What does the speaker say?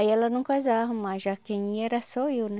Aí ela não coisava mais, já quem ia era só eu, né?